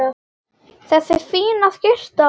Þessi fína skyrta!